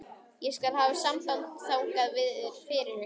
Ég skal hafa samband þangað fyrir ykkur.